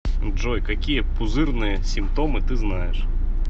джой какие пузырные симптомы ты знаешь